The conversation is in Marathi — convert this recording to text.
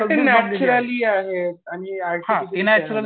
ती नॅक्युरली आहेत आणि हे